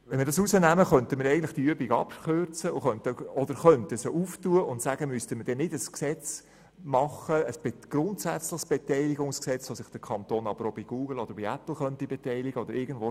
Wenn wir das herausnehmen, könnte man diese Übung abkürzen und sagen, dass wir ein grundsätzliches Beteiligungsgesetz machen, bei dem sich jeder Kanton sowie Google und Apple beteiligen können.